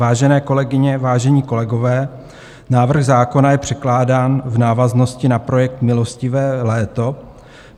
Vážené kolegyně, vážení kolegové, návrh zákona je předkládán v návaznosti na projekt milostivé léto.